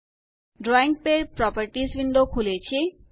drawing pad properties window ખૂલે છે